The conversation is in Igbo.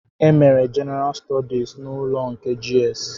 E mere Jenara stọdis n'ụlọ nke GS